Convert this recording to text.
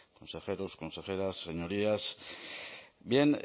consejeros consejeras señorías bien